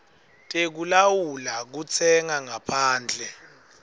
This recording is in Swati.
tekulawula kutsenga ngaphandle